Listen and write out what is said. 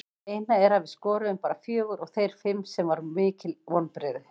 Það eina er að við skoruðum bara fjögur og þeir fimm sem var mikil vonbrigði.